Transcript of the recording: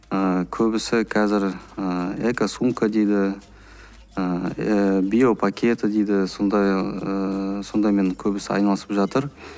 ыыы көбісі қазір ыыы экосумка дейді ыыы биопакеты дейді сондай ыыы сондаймен көбісі айналысып жатыр